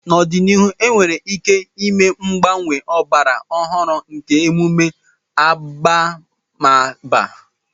N'ọdịnihu, enwere ike ịme mgbanwe ọgbara ọhụrụ nke emume abamaba.